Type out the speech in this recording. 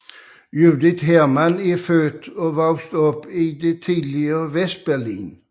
Judith Hermann er født og opvokset i det tidligere Vestberlin